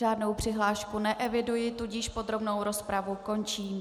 Žádnou přihlášku neeviduji, tudíž podrobnou rozpravu končím.